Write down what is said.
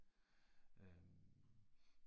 Øh